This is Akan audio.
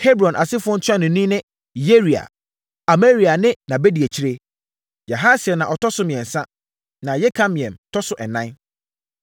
Hebron asefoɔ ntuanofoɔ ne: Yeria; Amaria ne nʼabadiakyire, Yahasiel na ɔtɔ so mmiɛnsa na Yekameam tɔ so ɛnan.